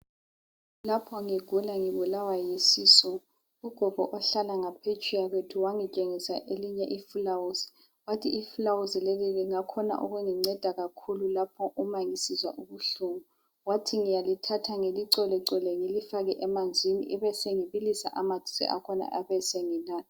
Lapho ngigula ngibulawa yisisu, ugogo ohlala ngaphetsheya kwethu wangitshengisa elinye ifilawuzi, wathi ifilawuzi leli lingakhona ukunginceda kakhulu lapho uma ngisizwa ubuhlungu. Wathi ngiyalithatha ngilicholechole ngilifake emanzini ngibe sengibilisa amanzi akhona besenginatha.